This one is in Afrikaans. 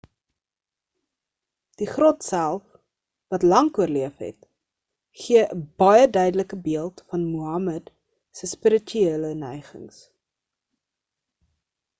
die grot self wat lank oorleef het gee 'n baie duidelike beeld van muhammad se spirituele neigings